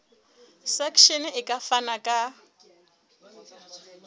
section e ka fana ka